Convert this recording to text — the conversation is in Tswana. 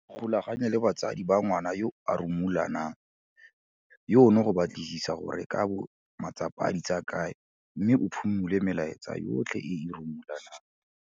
Ikgolaganye le batsadi ba ngwana yo a rumulanang yono go batlisisa gore e ka bo matsapa di a tsaya kae mme o phimole melaetsa yotlhe e e rumulanang.